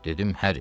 Dedim: Həri.